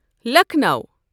Lucknow